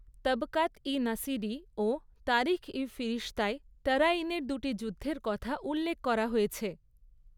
তবকাত ই নাসিরী ও তারিখ ই ফিরিশতায় তরাইনের দুটি যুদ্ধের কথা উল্লেখ করা হয়েছে।